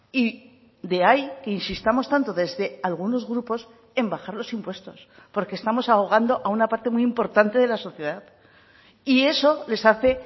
y de ahí que insistamos tanto desde algunos grupos en bajar los impuestos porque estamos ahogando a una parte muy importante de la sociedad y eso les hace